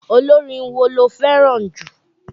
Olórin wo lo fẹràn jù?